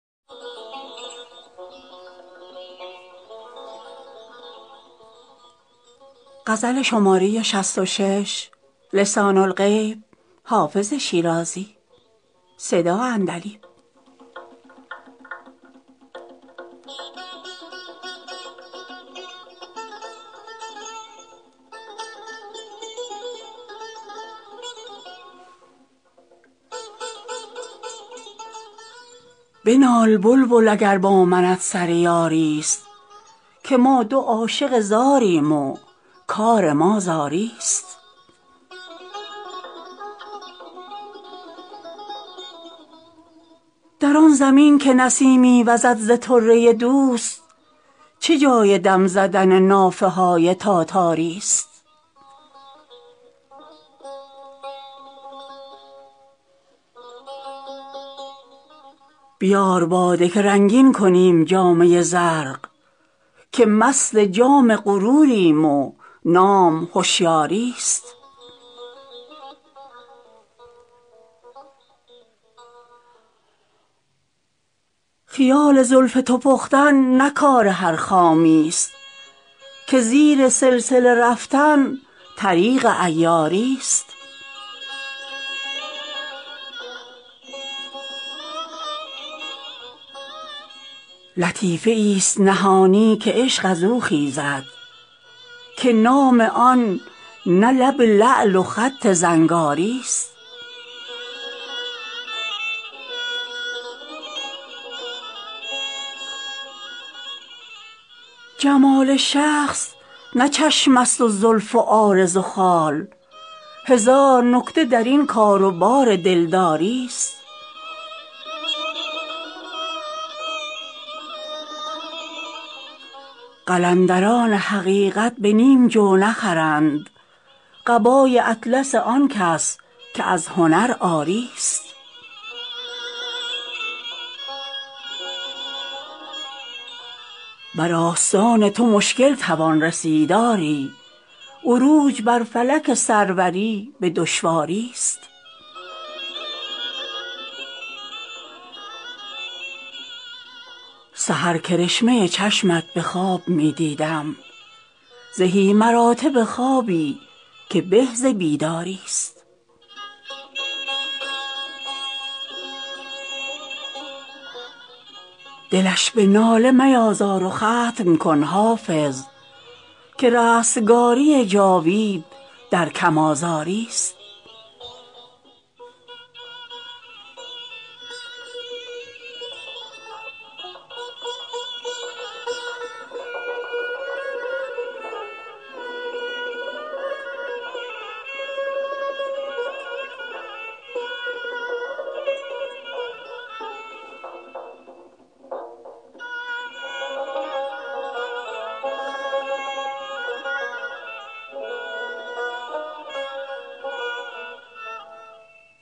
بنال بلبل اگر با منت سر یاری ست که ما دو عاشق زاریم و کار ما زاری ست در آن زمین که نسیمی وزد ز طره دوست چه جای دم زدن نافه های تاتاری ست بیار باده که رنگین کنیم جامه زرق که مست جام غروریم و نام هشیاری ست خیال زلف تو پختن نه کار هر خامی ست که زیر سلسله رفتن طریق عیاری ست لطیفه ای ست نهانی که عشق از او خیزد که نام آن نه لب لعل و خط زنگاری ست جمال شخص نه چشم است و زلف و عارض و خال هزار نکته در این کار و بار دلداری ست قلندران حقیقت به نیم جو نخرند قبای اطلس آن کس که از هنر عاری ست بر آستان تو مشکل توان رسید آری عروج بر فلک سروری به دشواری ست سحر کرشمه چشمت به خواب می دیدم زهی مراتب خوابی که به ز بیداری ست دلش به ناله میازار و ختم کن حافظ که رستگاری جاوید در کم آزاری ست